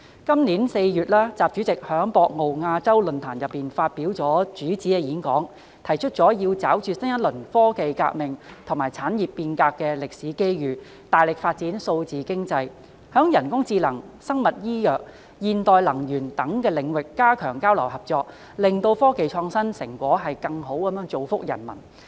今年4月，習主席在博鰲亞洲論壇上發表主旨演講，提出"抓住新一輪科技革命和產業變革的歷史機遇，大力發展數字經濟，在人工智能、生物醫藥、現代能源等領域加強交流合作，使科技創新成果更好造福各國人民。